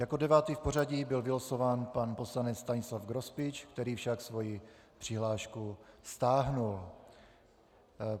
Jako devátý v pořadí byl vylosován pan poslanec Stanislav Grospič, který však svoji přihlášku stáhl.